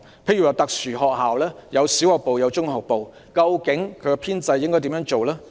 例如特殊學校設有小學部和中學部，究竟應如何處理其編制？